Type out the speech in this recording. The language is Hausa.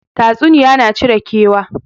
Tatsuniya na cire kewa